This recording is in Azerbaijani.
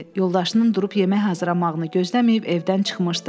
Yoldaşının durub yemək hazırlamağını gözləməyib evdən çıxmışdı.